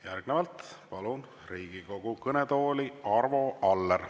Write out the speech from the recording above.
Järgnevalt palun Riigikogu kõnetooli Arvo Alleri.